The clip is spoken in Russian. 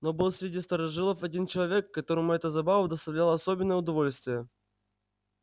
но был среди старожилов один человек которому эта забава доставляла особенное удовольствие